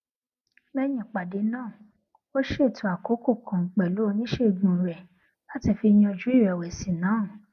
léyìn ìpàdé náà ó ṣètò àkókò kan pèlú oníṣègùn rè láti fi yanjú ìrèwèsì náà